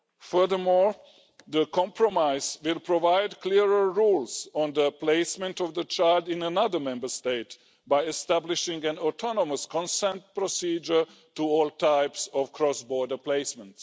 Furthermore, the compromise will provide clearer rules on the placement of the child in another Member State by establishing an autonomous consent procedure for all types of cross border placement.